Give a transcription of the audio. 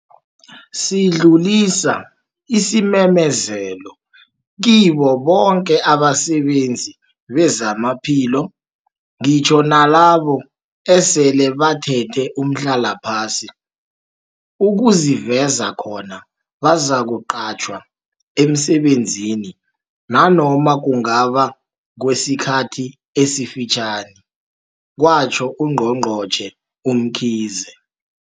Sidllulisa isimemezelo kibo boke abasebenzi bezamaphilo, ngitjho nalabo esele bathethe umhlalaphasi, ukuziveza khona bazakuqatjhwa emsebenzini nanoma kungaba ngekwesikhathi esifitjhani, kwatjho uNgqongqotjhe uMkhize.